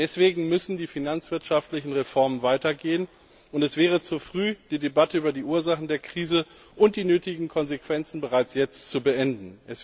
Deswegen müssen die finanzwirtschaftlichen Reformen weitergehen, und es wäre zu früh, die Debatte über die Ursachen der Krise und die nötigen Konsequenzen bereits jetzt zu beenden.